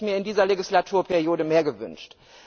Hier hätte ich mir in dieser Legislaturperiode mehr gewünscht.